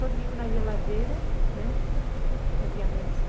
Só tinha uma geladeira, né não tinha mesa.